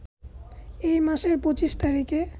এই মাসের ২৫ তারিখে